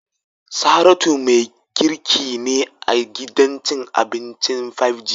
Saratu mai girki ne a gidan cin abincin "5G"